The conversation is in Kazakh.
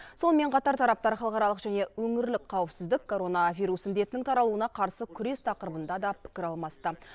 сонымен қатар тараптар халықаралық және өңірлік қауіпсіздік коронавирус індетінің таралуына қарсы күрес тақырыбында да пікір алмасты